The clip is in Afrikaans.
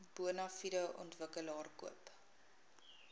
bonafide ontwikkelaar koop